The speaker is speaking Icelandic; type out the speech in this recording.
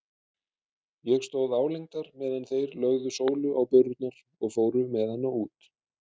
Ég stóð álengdar meðan þeir lögðu Sólu á börurnar og fóru með hana út.